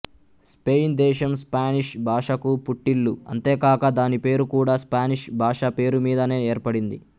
Spain దేశం Spanish భాషకు పుట్టిల్లు అంతేకాక దాని పేరు కూడా స్పానిష్ భాష పేరుమీదనే ఏర్పడింది